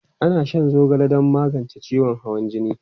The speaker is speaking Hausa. Ana shan zogale don magance ciwon hawan jini.